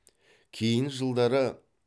кейін жылдары